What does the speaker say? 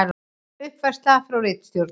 Uppfærsla frá ritstjórn: